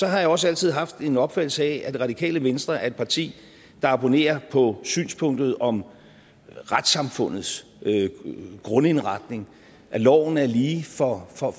jeg også altid haft en opfattelse af at radikale venstre er et parti der abonnerer på synspunktet om retssamfundets grundindretning at loven er lige for